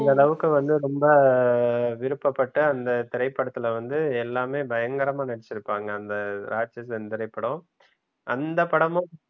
இந்த அளவுக்கு வந்து ரொம்ப விருப்பப்பட்ட அந்த திரைப்படத்துல வந்து எல்லாமே பயங்கரமா நடித்திருப்பாங்க அந்த ராட்சசன் திரைப்படம் அந்த படமும்